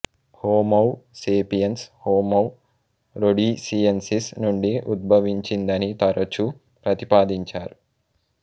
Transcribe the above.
homo sapiens homo rhodesiensis నుండి ఉద్భవించిందని తరచూ ప్రతిపాదించారు